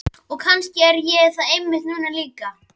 Og kannski er ég það einmitt núna líka.